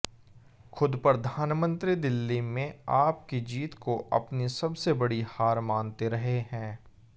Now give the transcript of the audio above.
खुद प्रधानमंत्री दिल्ली में आप की जीत को अपनी सबसे बड़ी हार मानते रहे हैं